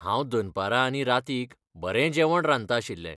हांव दनपरां आनी रातीक बरें जेवण रांदतलें आशिल्लें.